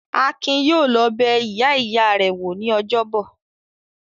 Akin yóò lọ bẹ ìyá-ìyá rẹ̀ wò ní ọjọ́bọ̀!